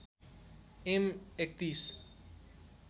am ३१